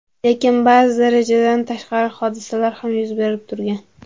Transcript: Lekin ba’zida rejadan tashqari hodisalar ham yuz berib turgan.